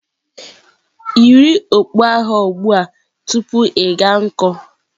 Yiri okpu agha ugbu a tupu ịga n'ọkụ.